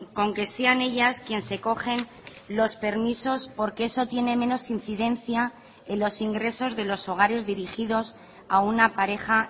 con que sean ellas quien se cogen los permisos porque eso tiene menos incidencia en los ingresos de los hogares dirigidos a una pareja